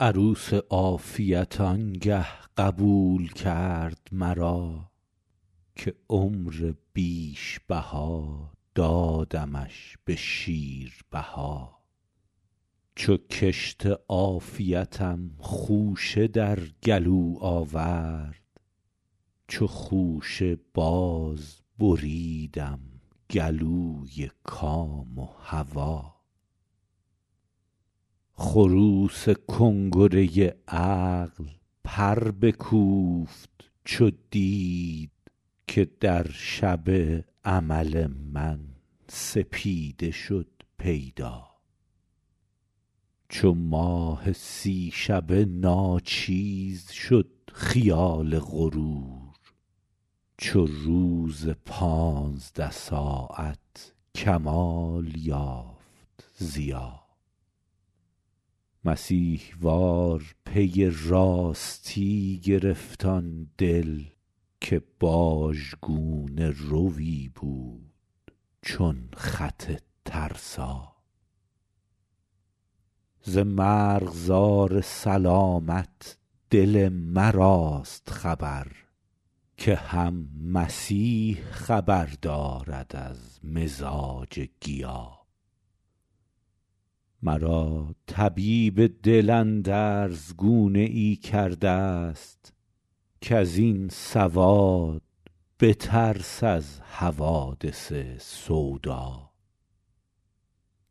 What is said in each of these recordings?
عروس عافیت آنگه قبول کرد مرا که عمر بیش بها دادمش به شیربها چو کشت عافیتم خوشه در گلو آورد چو خوشه باز بریدم گلوی کام و هوا خروس کنگره عقل پر بکوفت چو دید که در شب امل من سپیده شد پیدا چو ماه سی شبه ناچیز شد خیال غرور چو روز پانزده ساعت کمال یافت ضیا مسیح وار پی راستی گرفت آن دل که باژ گونه روی بود چون خط ترسا ز مرغزار سلامت دل مراست خبر که هم مسیح خبر دارد از مزاج گیا مرا طبیب دل اندرز گونه ای کرده است کز این سواد بترس از حوادث سودا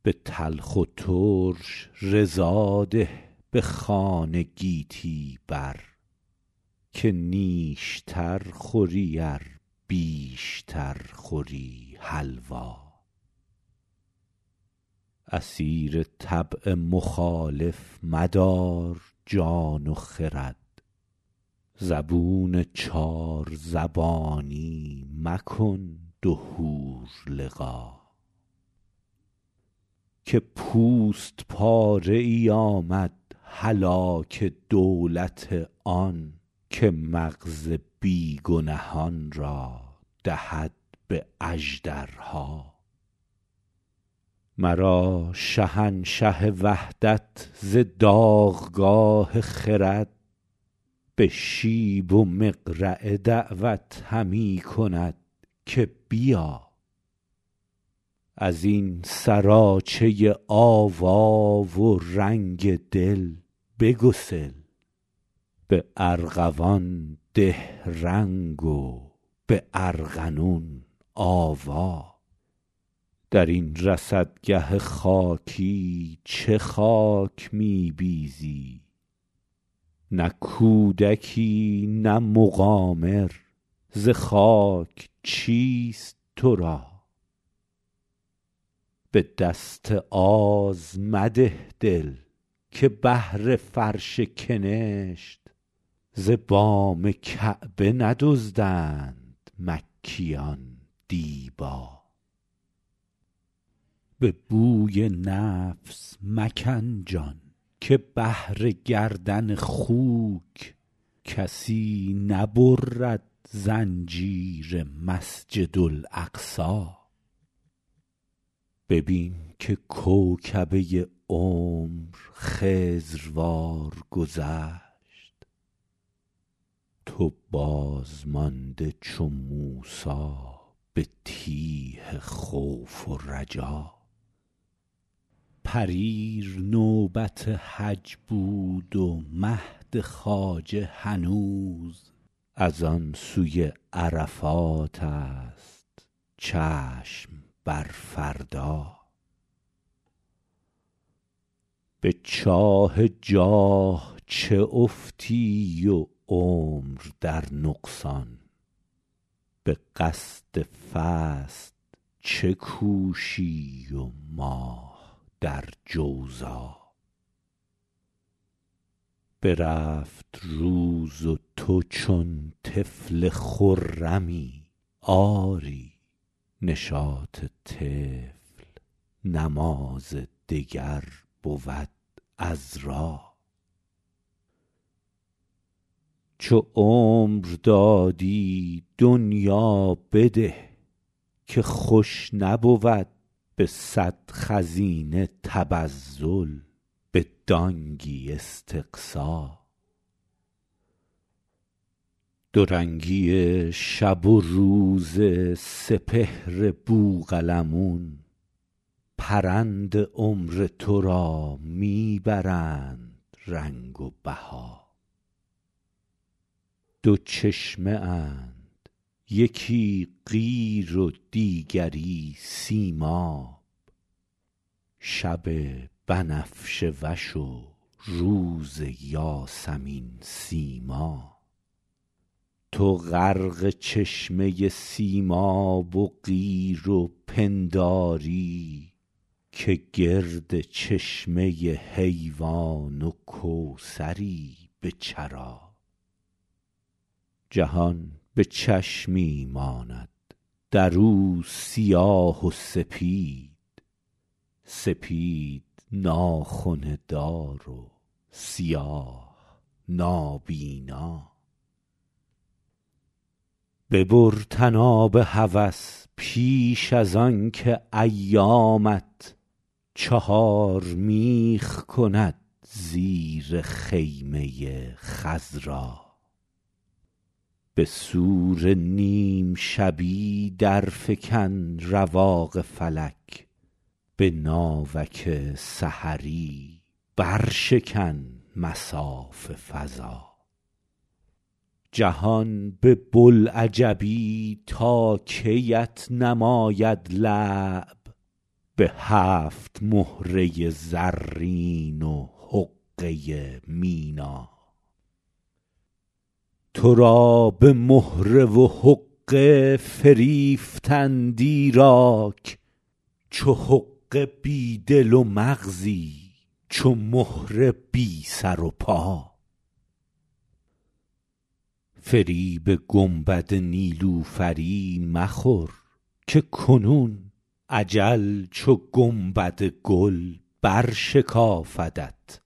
به تلخ و ترش رضا ده به خوان گیتی بر که نیشتر خوری ار بیشتر خوری حلوا اسیر طبع مخالف مدار جان و خرد زبون چارزبانی مکن دو حور لقا که پوست پاره ای آمد هلاک دولت آن که مغز بی گنهان را دهد به اژدرها مرا شهنشه وحدت ز داغگاه خرد به شیب و مقرعه دعوت همی کند که بیا از این سراچه آوا و رنگ دل بگسل به ارغوان ده رنگ و به ارغنون آوا در این رصدگه خاکی چه خاک می بیزی نه کودکی نه مقامر ز خاک چیست تو را به دست آز مده دل که بهر فرش کنشت ز بام کعبه ندزدند مکیان دیبا به بوی نفس مکن جان که بهر گردن خوک کسی نبرد زنجیر مسجد اقصا ببین که کوکبه عمر خضروار گذشت تو بازمانده چو موسی به تیه خوف و رجا پریر نوبت حج بود و مهد خواجه هنوز از آن سوی عرفات است چشم بر فردا به چاه جاه چه افتی و عمر در نقصان به قصد فصد چه کوشی و ماه در جوزا برفت روز و تو چون طفل خرمی آری نشاط طفل نماز دگر بود عذرا چو عمر دادی دنیا بده که خوش نبود به صد خزینه تبذر به دانگی استقصا دو رنگی شب و روز سپهر بوقلمون پرند عمر تو را می برند رنگ و بها دو چشمه اند یکی قیر و دیگری سیماب شب بنفشه وش و روز یاسمین سیما تو غرق چشمه سیماب و قیر و پنداری که گرد چشمه حیوان و کوثری به چرا جهان به چشمی ماند در او سیاه و سپید سپید ناخنه دارد و سیاه نابینا ببر طناب هوس پیش از آنکه ایامت چهار میخ کند زیر خیمه خضرا به صور نیم شبی درفکن رواق فلک به ناوک سحری برشکن مصاف فضا جهان به بوالعجبی تا کی ات نماید لعب به هفت مهره زرین و حقه مینا تو را به مهره و حقه فریفتند ایراک چو حقه بی دل و مغزی چو مهره بی سر و پا فریب گنبد نیلوفری مخور که کنون اجل چو گنبد گل برشکافدت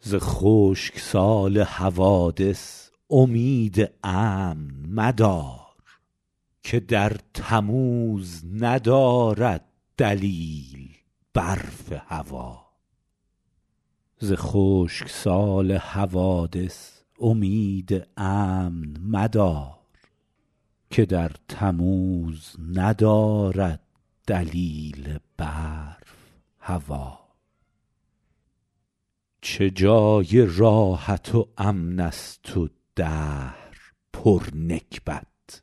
عمدا ز خشک سال حوادث امید امن مدار که در تموز ندارد دلیل برف هوا چه جای راحت و امن است دهر پر نکبت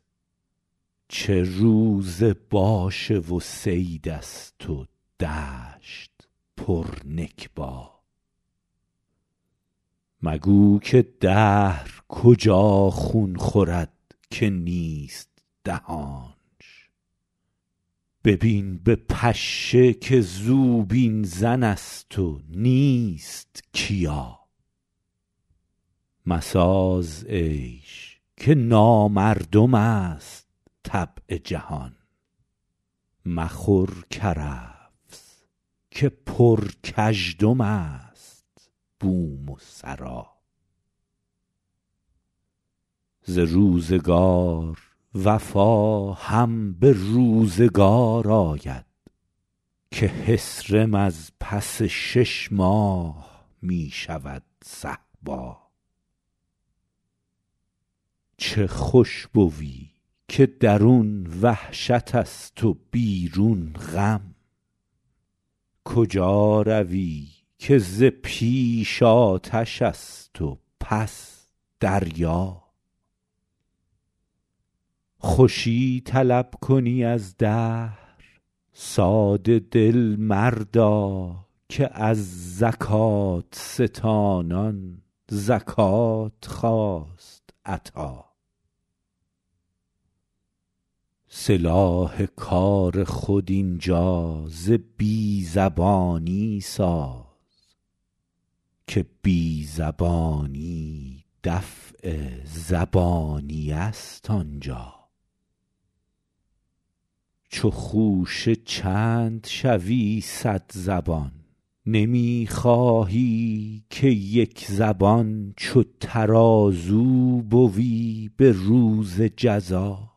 چه روز باشه و صید است و دشت پر نکبا مگو که دهر کجا خون خورد که نیست دهانش ببین به پشه که زوبین زن است و نیست کیا مساز عیش که نامردم است طبع جهان مخور کرفس که پر کژدم است بوم و سرا ز روزگار وفا هم به روزگار آید که حصرم از پس شش ماه می شود صهبا چه خوش بوی که درون وحشت است و بیرون غم کجا روی که ز پیش آتش است و پس دریا خوشی طلب کنی از دهر ساده دل مردا که از زکات ستانان زکات خواست عطا سلاح کار خود اینجا ز بی زبانی ساز که بی زبانی دفع زبانیه است آنجا چو خوشه چند شوی صد زبان نمی خواهی که یک زبان چو ترازو بوی به روز جزا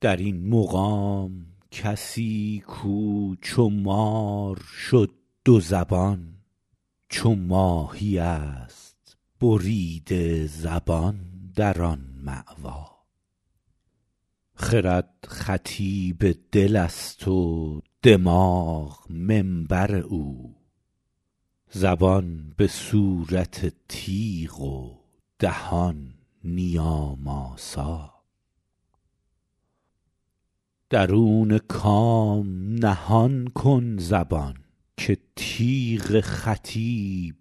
در این مقام کسی کو چو مار شد دو زبان چو ماهی است بریده زبان در آن ماوا خرد خطیب دل است و دماغ منبر او زبان به صورت تیغ و دهان نیام آسا درون کام نهان کن زبان که تیغ خطیب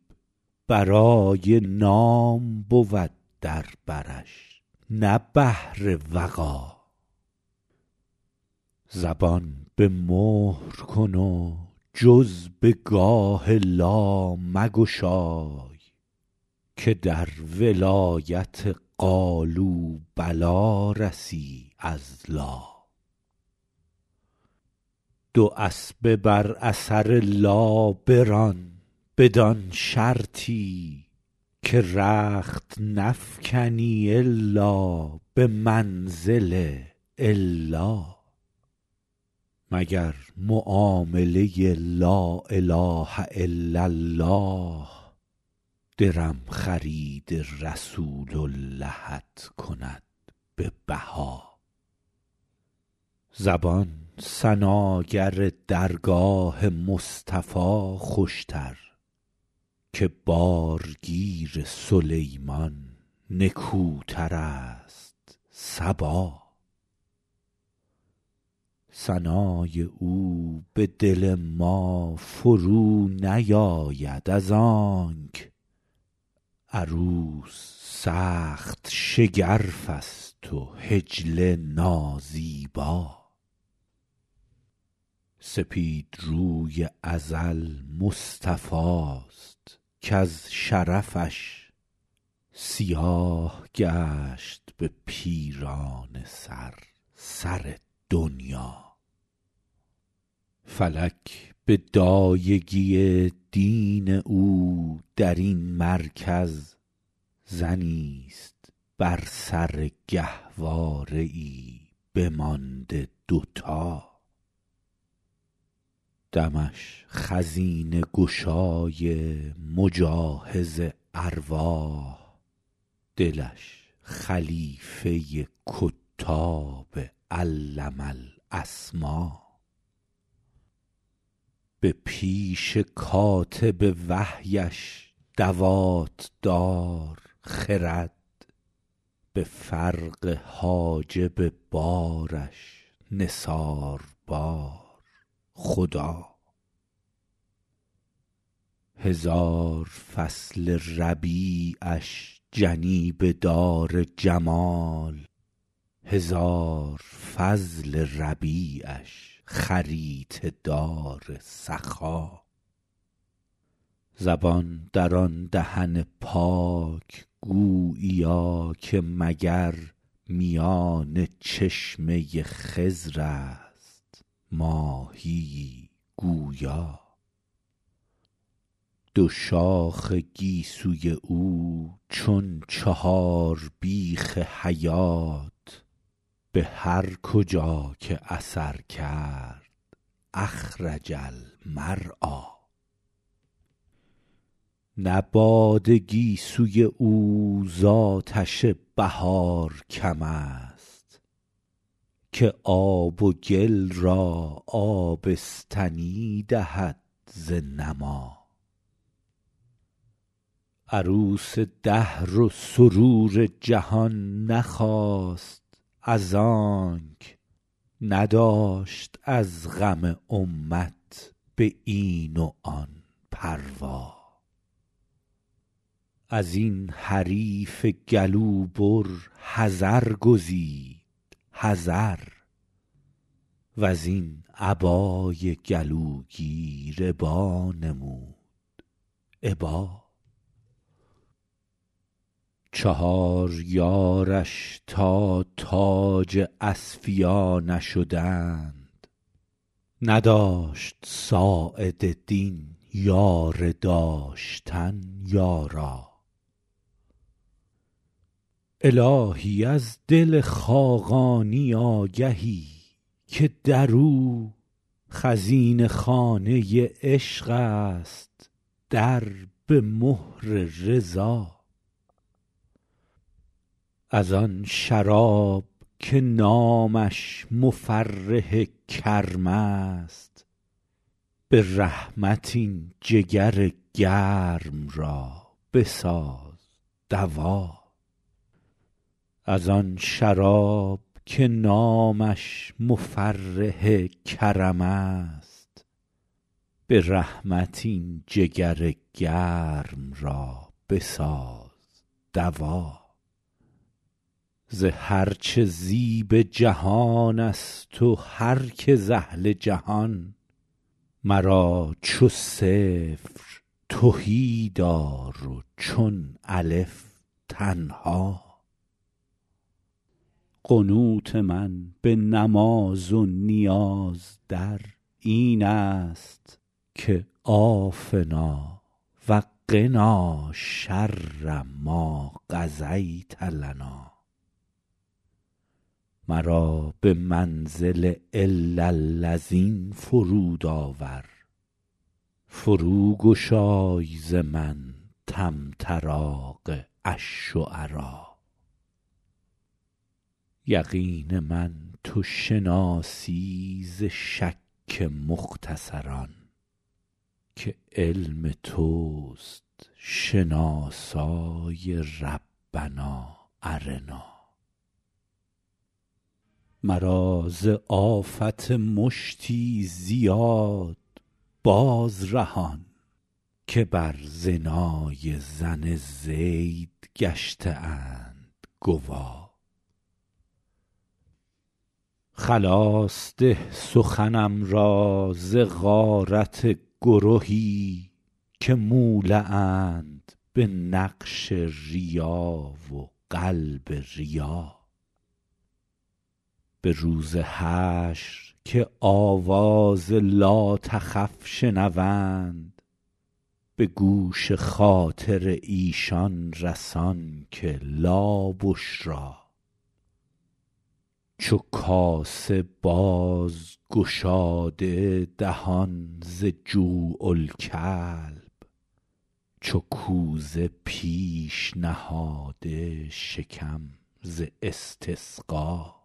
برای نام بود در برش نه بهر وغا زبان به مهر کن و جز به گاه لا مگشای که در ولایت قالوا بلی رسی از لا دو اسبه بر اثر لا بران بدان شرطی که رخت نفکنی الا به منزل الا مگر معامله لا اله الا الله درم خرید رسول اللهت کند به بها زبان ثناگر درگاه مصطفی خوشتر که بارگیر سلیمان نکوتر است صبا ثنای او به دل ما فرو نیاید از آنک عروس سخت شگرف است و حجله نازیبا سپید روی ازل مصطفی است کز شرفش سیاه گشت به پیرانه سر سر دنیا فلک به دایگی دین او در این مرکز زنی است بر سر گهواره ای بمانده دوتا دمش خزینه گشای مجاهز ارواح دلش خلیفه کتاب علم الاسما به پیش کاتب وحیش دوات دار خرد به فرق حاجب بارش نثار بار خدا هزار فصل ربیعش جنیبه دار جمال هزار فضل ربیعش خریطه دار سخا زبان در آن دهن پاک گوییا که مگر میان چشمه خضر است ماهیی گویا دو شاخ گیسوی او چون چهار بیخ حیات به هر کجا که اثر کرد اخرج المرعی نه باد گیسوی او ز آتش بهار کم است که آب و گل را آبستنی دهد ز نما عروس دهر و سرور جهان نخواست از آنک نداشت از غم امت به این و آن پروا از این حریف گلو بر حذر گزید حذر وز این ابای گلوگیر ابا نمود ابا چهار یارش تا تاج اصفیا نشدند نداشت ساعد دین یاره داشتن یارا الهی از دل خاقانی آگهی که در او خزینه خانه عشق است در به مهر رضا از آن شراب که نامش مفرح کرم است به رحمت این جگر گرم را بساز دوا ز هرچه زیب جهان است و هرکه ز اهل جهان مرا چو صفر تهی دار و چون الف تنها قنوت من به نماز و نیاز در این است که عافنا و قنا شر ما قضیت لنا مرا به منزل الا الذین فرود آور فرو گشای ز من طمطراق الشعرا یقین من تو شناسی ز شک مختصران که علم توست شناسای ربنا ارنا مرا ز آفت مشتی زیاد باز رهان که بر زنای زن زید گشته اند گوا خلاص ده سخنم را ز غارت گرهی که مولع اند به نقش ریا و قلب ریا به روز حشر که آواز لاتخف شنوند به گوش خاطر ایشان رسان که لابشری چو کاسه باز گشاده دهان ز جوع الکلب چو کوزه پیش نهاده شکم ز استسقا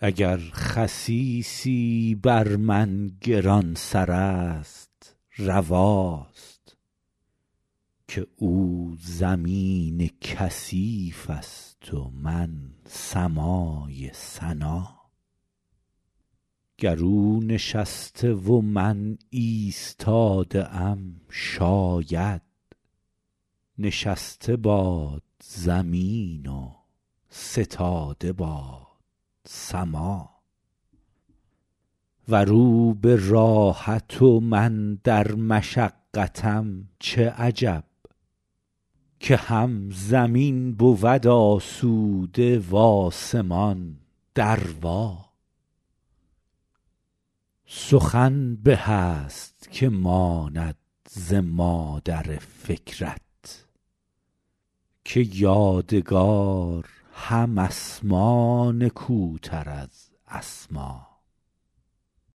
اگر خسیسی بر من گران سر است رواست که او زمین کثیف است و من سمای سنا گر او نشسته و من ایستاده ام شاید نشسته باد زمین و ستاده باد سما ور او به راحت و من در مشقتم چه عجب که هم زمین بود آسوده و آسمان دروا سخن به است که ماند ز مادر فکرت که یادگار هم اسما نکوتر از اسما